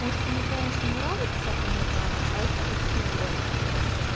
может кому конечно нравится кому-то архитектура